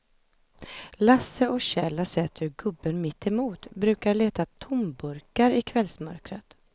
Lasse och Kjell har sett hur gubben mittemot brukar leta tomburkar i kvällsmörkret.